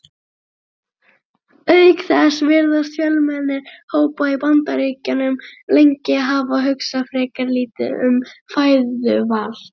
Auk þess virðast fjölmennir hópar í Bandaríkjunum lengi hafa hugsað frekar lítið um fæðuval.